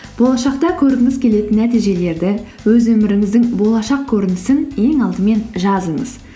болашақта көргіңіз келетін нәтижелерді өз өміріміздің болашақ көрінісін ең алдымен жазыңыз